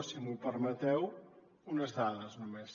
si m’ho permeteu unes dades només